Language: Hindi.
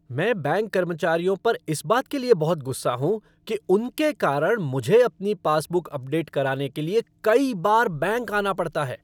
मैं बैंक कर्मचारियों पर इस बात के लिए बहुत गुस्सा हूँ कि उनके कारण मुझे अपनी पासबुक अपडेट कराने के लिए कई बार बैंक आना पड़ता है।